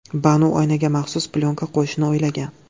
Banu oynaga maxsus plyonka qo‘yishni o‘ylagan.